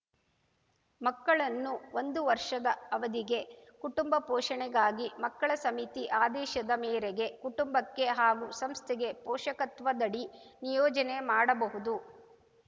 ಮಕ್ಕಳನ್ನು ಒಂದು ವರ್ಷದ ಅವಧಿಗೆ ಕುಟುಂಬ ಪೋಷಣೆಗಾಗಿ ಮಕ್ಕಳ ಸಮಿತಿ ಆದೇಶದ ಮೇರೆಗೆ ಕುಟುಂಬಕ್ಕೆ ಹಾಗೂ ಸಂಸ್ಥೆಗೆ ಪೋಷಕತ್ವದಡಿ ನಿಯೋಜನೆ ಮಾಡಬಹುದು